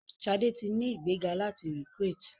Shade tí ní ìgbéga láti recruit.